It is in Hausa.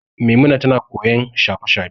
Maimuna tana koyon shafe-shafe.